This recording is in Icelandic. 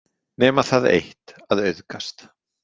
Nema það eitt að auðgast.